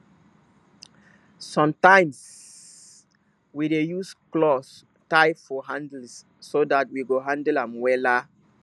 sometimeswe dey use cloth tie for handles so dat we go hanle am wela